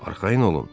Arxayın olun.